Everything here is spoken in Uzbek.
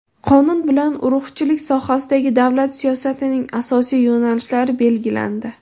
Qonun bilan urug‘chilik sohasidagi davlat siyosatining asosiy yo‘nalishlari belgilandi.